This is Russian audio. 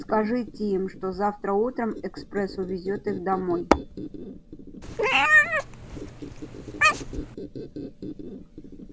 скажите им что завтра утром экспресс увезёт их домой